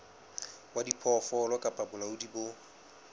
wa diphoofolo kapa bolaodi bo